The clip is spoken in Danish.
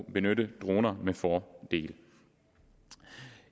benytte droner med fordel